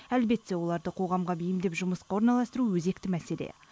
әлбетте оларды қоғамға бейімдеп жұмысқа орналастыру өзекті мәселе